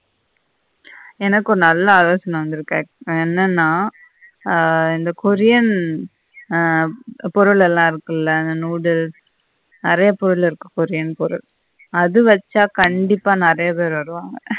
எனக்கும் நல்ல ஆலோசன வந்திருக்கு என்னன்னா இந்த கொரியன் பொருளல்லாம் இருக்குல்ல அந்த நூது அறைய பொருளுக்கு கொரியன் பொருள் அத வெச்சா கண்டிப்பா நெறைய பேர் வருவாங்க